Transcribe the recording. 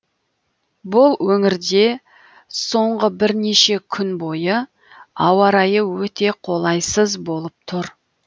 бұл өңірде соңғы бірнеше күн бойы ауа райы өте қолайсыз болып тұр